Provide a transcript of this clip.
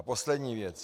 A poslední věc.